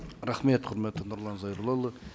рахмет құрметті нұрлан зайроллаұлы